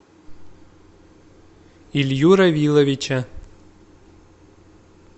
илью равиловича